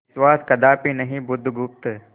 विश्वास कदापि नहीं बुधगुप्त